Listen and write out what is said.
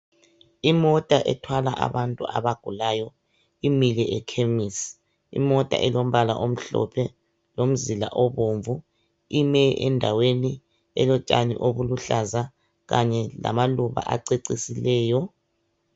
Imota ethwala abantu abagulayo imile ekhemisi. Imota elombala omhlophe lomzila obomvu ime endaweni elotshani obuluhlaza kanye lamaluba acecisileyo.